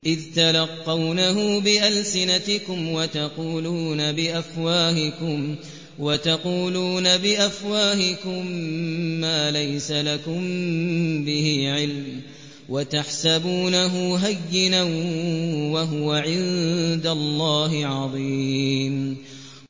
إِذْ تَلَقَّوْنَهُ بِأَلْسِنَتِكُمْ وَتَقُولُونَ بِأَفْوَاهِكُم مَّا لَيْسَ لَكُم بِهِ عِلْمٌ وَتَحْسَبُونَهُ هَيِّنًا وَهُوَ عِندَ اللَّهِ عَظِيمٌ